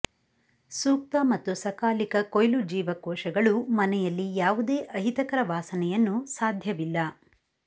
ಸೂಕ್ತ ಮತ್ತು ಸಕಾಲಿಕ ಕೊಯ್ಲು ಜೀವಕೋಶಗಳು ಮನೆಯಲ್ಲಿ ಯಾವುದೇ ಅಹಿತಕರ ವಾಸನೆಯನ್ನು ಸಾಧ್ಯವಿಲ್ಲ